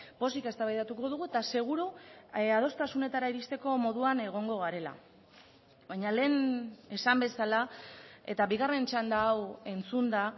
pozik eztabaidatuko dugu eta seguru adostasunetara iristeko moduan egongo garela baina lehen esan bezala eta bigarren txanda hau entzunda